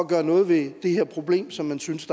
gøre noget ved det her problem som man synes